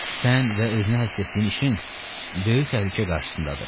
Sən və özünə həsr etdiyin işin böyük təhlükə qarşısındadır.